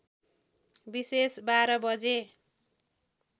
विषेश १२ बजे